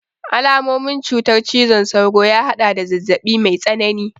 Alamomin cutar cizon sauro ya haɗada zazzaɓi mai tsanani